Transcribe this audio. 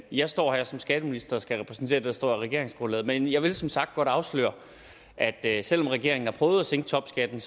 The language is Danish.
jeg står her som skatteminister og skal repræsentere det der står i regeringsgrundlaget men jeg vil som sagt godt afsløre at at selv om regeringen har prøvet at sænke topskatten